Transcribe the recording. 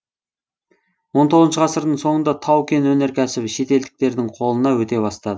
он тоғызыншы ғасырдың соңында тау кен өнеркәсібі шетелдіктердің қолына өте бастады